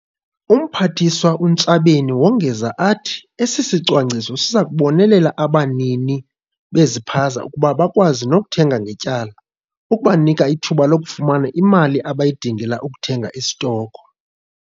UMphathiswa uNtshabeni wongeza athi esi sicwangciso siza kubonelela abanini bezipaza ukuba bakwazi nokuthenga ngetyala, ukubanika ithuba lokufumana imali abayidingela ukuthenga istoko.